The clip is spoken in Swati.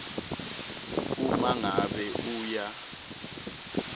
uma ngabe uya